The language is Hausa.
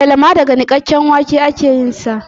Alala ma daga nikakken wake ake yin sa